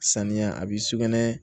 Saniya a bi sugunɛ